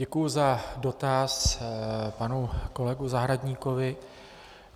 Děkuji za dotaz panu kolegu Zahradníkovi.